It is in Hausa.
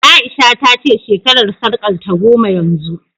A'isha ta ce shekarar sarƙarta goma yanzu